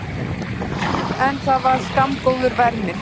En það var skammgóður vermir.